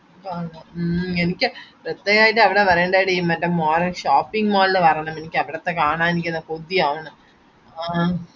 മ്മ് എനിക്ക് സത്യായിട്ടും അവിടെ വരേണ്ടെടി മറ്റേ mall shopping mall ഇൽ വരണം എനിക്കവിടുത്തെ കാണാൻ എനിക്ക് കൊത്യവന്ന് ആഹ്